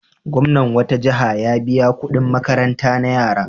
Gwamnan wata jiha ya biya kuɗin makaranta na yara.